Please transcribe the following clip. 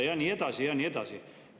Ja nii edasi ja nii edasi.